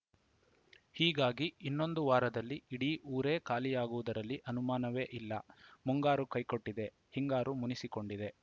ಹೀಗಾಗಿ ಇನ್ನೊಂದು ವಾರದಲ್ಲಿ ಇಡೀ ಊರೇ ಖಾಲಿಯಾಗುವುದರಲ್ಲಿ ಅನುಮಾನವೇ ಇಲ್ಲ ಮುಂಗಾರು ಕೈಕೊಟ್ಟಿದೆ ಹಿಂಗಾರು ಮುನಿಸಿಕೊಂಡಿದೆ